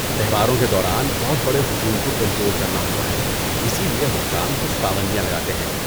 تہواروں کے دوران، بہت بڑے ہجوم کو کنٹرول کرنا ہوتا ہے، اسی لیے حکام کچھ پابندیاں لگاتے ہیں۔